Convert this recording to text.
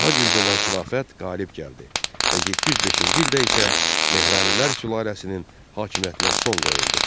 Daha güclü olan xilafət qalib gəldi və 705-ci ildə isə Mehranilər sülaləsinin hakimiyyətinə son qoyuldu.